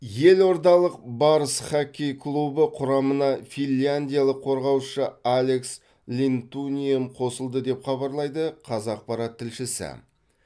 елордалық барыс хоккей клубы құрамына финляндиялық қорғаушы алекс линтунием қосылды деп хабарлайды қазақпарат тілшісі